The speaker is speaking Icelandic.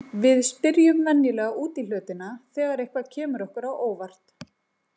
Við spyrjum venjulega út í hlutina þegar eitthvað kemur okkur á óvart.